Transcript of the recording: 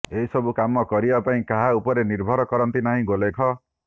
ଏସବୁ କାମ କରିବା ପାଇଁ କାହା ଉପରେ ର୍ନିଭର କରନ୍ତି ନାହିଁ ଗୋଲେଖ